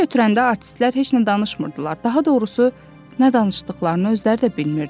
Belə götürəndə artistlər heç nə danışmırdılar, daha doğrusu, nə danışdıqlarını özləri də bilmirdilər.